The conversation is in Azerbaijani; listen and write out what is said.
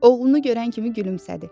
Oğlunu görən kimi gülümsədi.